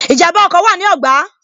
Ìjànbá ọkọ̀ wa ní ogba